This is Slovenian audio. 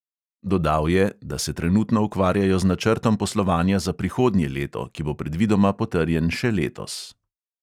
Dodal je, da se trenutno ukvarjajo z načrtom poslovanja za prihodnje leto, ki bo predvidoma potrjen še letos.